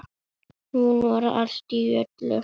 Hún var allt í öllu.